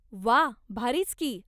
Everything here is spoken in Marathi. व्वा! भारीच की.